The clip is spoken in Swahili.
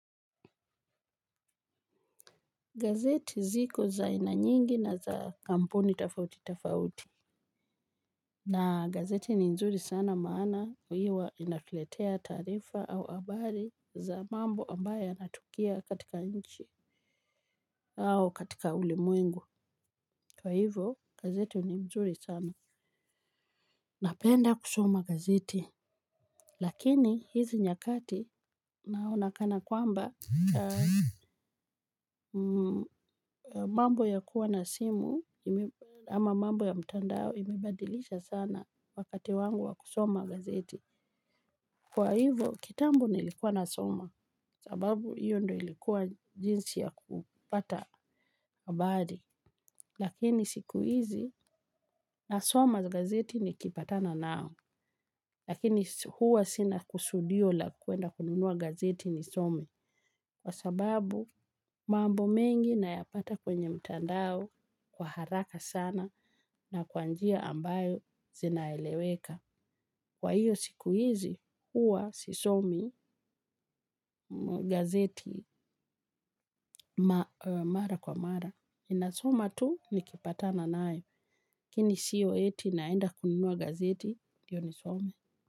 Gazeti ziko za aina nyingi na za kampuni tafauti tafauti. Na gazeti ni mzuri sana maana uiwa inatuletea tarifa au abari za mambo ambaye yanatukia katika nchi au katika ulimwengu. Kwa hivyo gazeti ni mzuri sana. Napenda kusoma gazeti. Lakini hizi nyakati naonakana kwamba mambo ya kuwa na simu ama mambo ya mtandao imebadilisha sana. Wakati wangu wa kusoma gazeti kwa hivo kitambo nilikuwa na soma sababu iyo ndo ilikuwa jinsi ya kupata habari. Lakini siku hizi nasoma gazeti ni kipatana nao. Lakini huwa sina kusudio la kuenda kununua gazeti ni somi kwa sababu mambo mengi na yapata kwenye mtandao kwa haraka sana na kwanjia ambayo zinaeleweka. Kwa hiyo siku hizi huwa sisomi gazeti mara kwa mara. Inasoma tu nikipata na nae kini siyo eti naenda kununua gazeti diyo nisome.